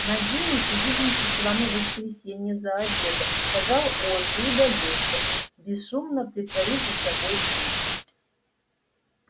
надеюсь увидимся с вами в воскресенье за обедом сказал он и удалился бесшумно притворив за собой дверь